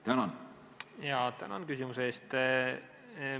Tänan küsimuse eest!